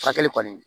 Furakɛli kɔni